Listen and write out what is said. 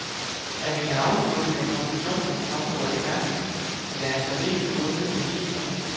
Af mine afsluttende konklusioner fremgår det klart, at der er særdeles gode indicier.